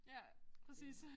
Ja præcis